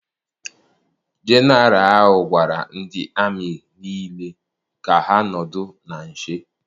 Jeneralụ ahụ gwara ndị amị niile ka ha nọdụ na nche.